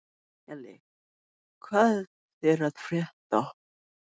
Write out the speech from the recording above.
Elly, hvað er að frétta?